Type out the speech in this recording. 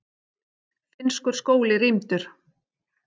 Finnskur skóli rýmdur